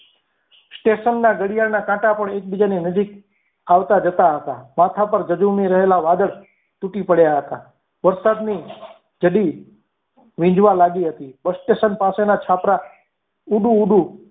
station ના ઘડિયાળના કાંટા પણ એકબીજાની નજીક આવતા જતા હતા માથા પર જજુમી રહેલા વાદળ તૂટી પડ્યા હતા. વરસાદની ચઢી વિજવા લાગી હતી bus station પાસેના છાપરા ઉડુ ઉડુ.